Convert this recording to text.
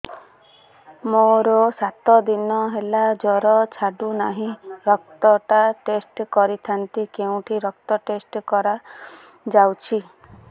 ମୋରୋ ସାତ ଦିନ ହେଲା ଜ୍ଵର ଛାଡୁନାହିଁ ରକ୍ତ ଟା ଟେଷ୍ଟ କରିଥାନ୍ତି କେଉଁଠି ରକ୍ତ ଟେଷ୍ଟ କରା ଯାଉଛି